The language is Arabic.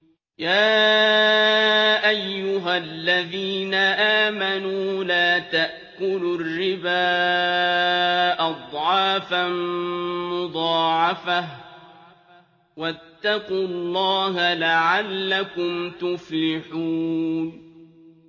يَا أَيُّهَا الَّذِينَ آمَنُوا لَا تَأْكُلُوا الرِّبَا أَضْعَافًا مُّضَاعَفَةً ۖ وَاتَّقُوا اللَّهَ لَعَلَّكُمْ تُفْلِحُونَ